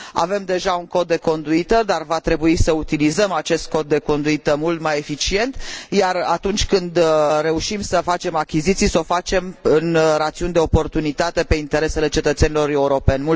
Avem deja un Cod de conduită, dar va trebui să utilizăm acest Cod de conduită mult mai eficient, iar atunci când reușim să facem achiziții, să o facem în rațiuni de oportunitate pentru interesele cetățenilor europeni.